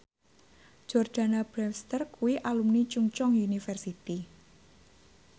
Jordana Brewster kuwi alumni Chungceong University